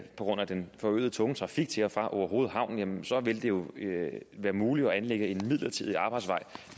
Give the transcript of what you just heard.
på grund af den forøgede tunge trafik til og fra orehoved havn vil det jo være muligt at anlægge en midlertidig arbejdsvej